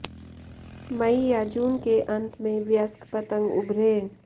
मई या जून के अंत में वयस्क पतंग उभरे